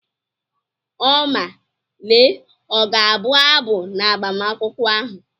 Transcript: Oma Lee ọ ga-abụ abụ n'agbamakwụkwọ ahụ?